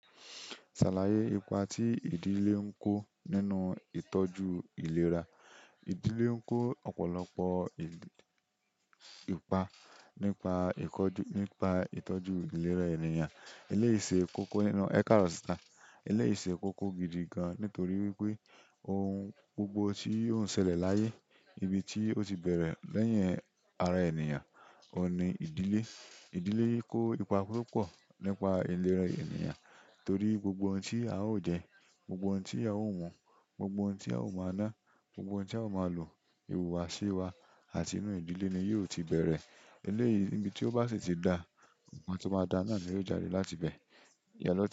Ṣàlàyé ipa tí ìdílé ń kó nínú ìtọ́jú ìlera. Ìdílé ń kó ọ̀pọ̀lọpọ̀ ìpà nípa ìtọ́jú ìlera ènìyàn. Eléyìí ṣe kókó nínú ẹ káàrọ̀ sister. Eléyìí ṣe kókó gidi gan nítorí wípé ohun gbogbo tí ó ń ṣẹlẹ̀ láyé, ibi tí ó ti bẹ̀rẹ̀ lẹ́yìn ara ènìyàn, ọ̀un nì ìdílé. Ìdílé kó ipa púpọ̀ nípa ìlera ènìyàn torí gbogbo ohun tí a o jẹ, gbogbo ohun tí a o mu, gbogbo ohun tí a o máa ná, gbogbo ohun tí a o máa lò, ìhùwàsí wa àti inú ìdílé ni yóò ti bẹ̀rẹ̀. Eléyìí ní ibi tí ó bá sì ti da, ohun tí ó máa da náà ni yóò jáde láti bẹ.